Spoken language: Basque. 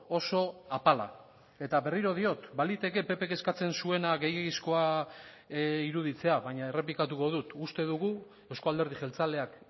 oso apala eta berriro diot baliteke ppk eskatzen zuena gehiegizkoa iruditzea baina errepikatuko dut uste dugu euzko alderdi jeltzaleak